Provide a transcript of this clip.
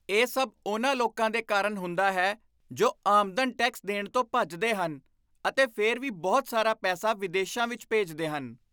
ਇਹ ਸਭ ਉਨ੍ਹਾਂ ਲੋਕਾਂ ਦੇ ਕਾਰਨ ਹੁੰਦਾ ਹੈ ਜੋ ਆਮਦਨ ਟੈਕਸ ਦੇਣ ਤੋਂ ਭੱਜਦੇ ਹਨ ਅਤੇ ਫਿਰ ਵੀ ਬਹੁਤ ਸਾਰਾ ਪੈਸਾ ਵਿਦੇਸ਼ਾਂ ਵਿੱਚ ਭੇਜਦੇ ਹਨ।